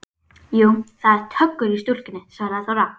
Jú, það er töggur í stúlkunni, svaraði Þóra.